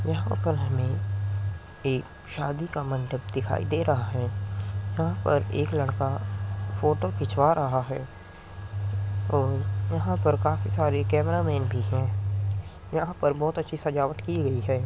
यहाँ पर हमे एक शादी का मंडप दिखाई दे रहा है। यहाँ पर एक लड़का फ़ोटो खिंचवा रहा है और यहाँ पर काफी सारे कैमरा मेन भी है। यहाँ पर बोहोत अच्छी सजावट की हुई है।